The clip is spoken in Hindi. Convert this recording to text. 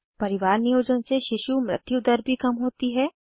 परिवार नियोजन से शिशु मृत्यु दर भी कम होती है